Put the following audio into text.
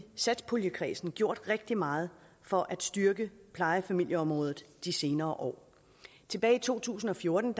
satspuljekredsen gjort rigtig meget for at styrke plejefamilieområdet de senere år tilbage i to tusind og fjorten